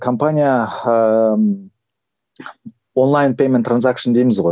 компания ыыы онлайн пейменд транзакшн дейміз ғой